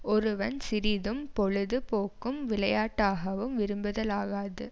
ஒருவன் சிறிதும் பொழுது போக்கும் விளையாட்டாகவும் விரும்புதலாகாது